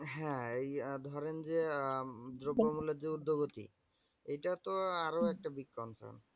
হ্যাঁ এই ধরেন যে আহ দ্রব্য মুলের যে ঊর্ধ্বগতি এটা তো আরো একটা